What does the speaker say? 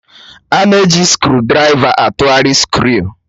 A na-eji skrụdiraiva atụgharị skru